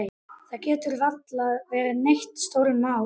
Það gat varla verið neitt stórmál.